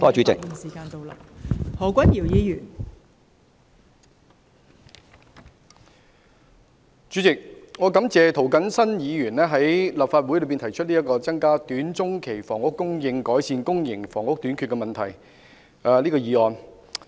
代理主席，我感謝涂謹申議員在立法會提出這項"增加短中期房屋供應，改善公營房屋短缺問題"的議案。